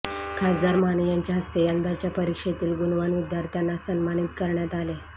खासदार माने यांच्या हस्ते यंदाच्या परीक्षेतील गुणवान विद्यार्थ्यांना सन्मानित करण्यात आले